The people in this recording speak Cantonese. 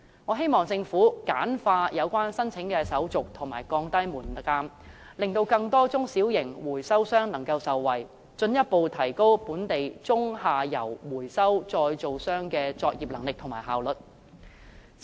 我希望政府簡化有關申請手續和降低門檻，令更多中小型回收商能夠受惠，從而進一步提高本地中、下游回收再造商的作業能力和效率。